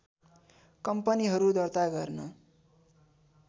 कम्पनीहरु दर्ता गर्न